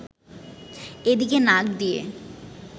এদিকে নাক দিয়ে